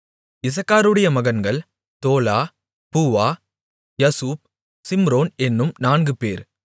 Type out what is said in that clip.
இசக்காருடைய மகன்கள் தோலா பூவா யசுப் சிம்ரோன் என்னும் நான்கு பேர்